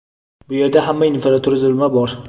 Bu yerda hamma infratuzilma bor.